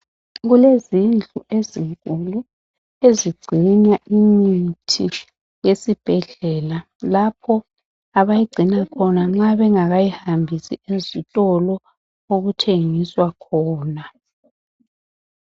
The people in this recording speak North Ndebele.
Kulezindlu ezinkulu ezigcina imithi yesibhedlela lapho abayigcina khona nxa bengakayihambisi ezitolo okuthengiswa khona